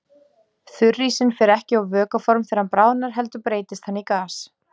Þurrísinn fer ekki á vökvaform þegar hann bráðnar heldur breytist hann í gas.